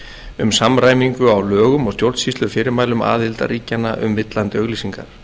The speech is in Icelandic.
um samræmingu á lögum og stjórnsýslufyrirmælum aðildarríkjanna um villandi auglýsingar